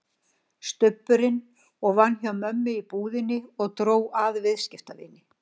Stubburinn og vann hjá mömmu í búðinni og dró að viðskiptavini.